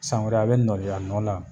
San wɛrɛ a be nɔli a nɔ la